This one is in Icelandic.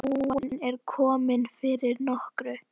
Lóan er komin fyrir nokkru.